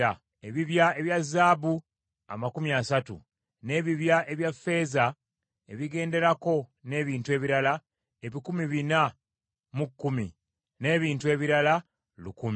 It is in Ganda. Ebibya ebya zaabu amakumi asatu 30, n’ebibya ebya ffeeza ebigenderako ebikumi bina mu kumi 410, n’ebintu ebirala lukumi 1,000.